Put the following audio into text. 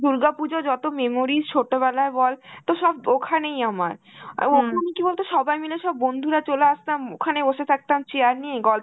দুর্গা পুজো যতো memories ছোটবেলায় বল তোর সব ওখানেই আমার. অ্যাঁ ওখানে কি বলতো সবাই মিলে, সব বন্ধুরা চলে আসতাম, উম ওখানে বসে থাকতাম chair নিয়ে গল্প